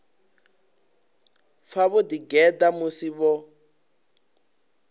pfa vho ḓigeḓa musi vho